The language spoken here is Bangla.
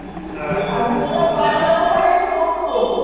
ওই বাড়িওয়ালার ওখানে এসে বসতো।